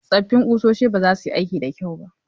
Tsoffin kusoshi ba za su yi aikin da kyau ba.